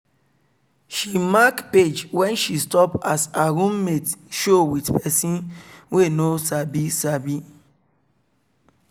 she mark page wen she stop as her room mate show with pesin wey nobody sabi